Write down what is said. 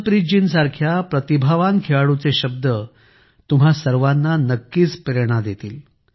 हरमनप्रीतजीनं सारख्या प्रतिभावान खेळाडूचे शब्द तुम्हा सर्वांना नक्कीच प्रेरणा देतील